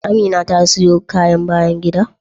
Amina ta siyo kayan bayan gida?